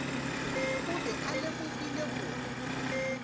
o be a lemogile gore